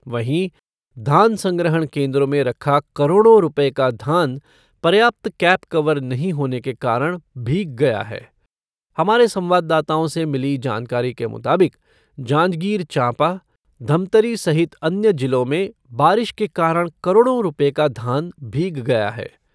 वहीं, धान संग्रहण केन्द्रों में रखा करोड़ों रूपये का धान पर्याप्त कैप कवर नहीं होने के कारण भीग गया है। हमारे संवाददाताओं से मिली जानकारी के मुताबिक जांजगीर चांपा, धमतरी सहित अन्य जिलों में बारिश के कारण करोड़ों रूपये का धान भीग गया है।